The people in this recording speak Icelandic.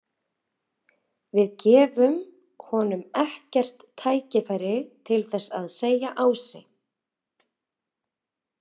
Við gefum honum ekkert tækifæri til þess, sagði Ási.